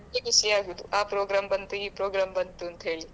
ಮತ್ತೆ ಖುಷಿ ಆಗುವುದು ಆ program ಬಂತು ಈ program ಬಂತು ಅಂತ ಹೇಳಿ.